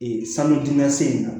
Ee sanu duman se